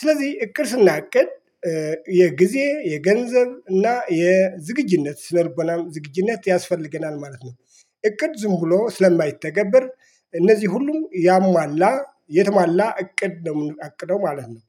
ስለዚህ እቅድ ስናቅድ የጊዜ የገንዘብ እና የዝግጅነት ስነልቦናም ዝግጅነት ያስፈልገናል ማለት ነው። እቅድ ዝም ብሎ ስለማይተገበር እነዚህ ሁሉም ያሟላ የትሟላ እቅድ ነው የምናቅደው ማለት ነው